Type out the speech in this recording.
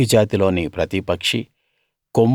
కాకి జాతిలోని ప్రతి పక్షీ